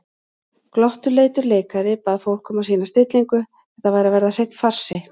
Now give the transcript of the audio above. Glottuleitur leikari bað fólk um að sýna stillingu, þetta væri að verða hreinn farsi.